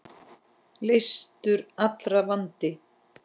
Leystur allra vandi.